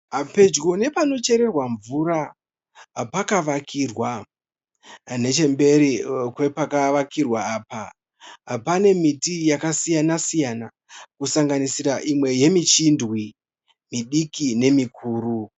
Pedyo nepanochererwa mvura pakavakirwa. Nechemberi kwepakavakirwa apa pane miti yaka siyana- siyana kusanganisira imwe yemi chindwi midiki nemikuru.